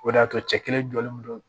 O de y'a to cɛ kelen jɔlen do